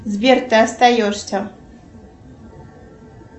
сбер ты остаешься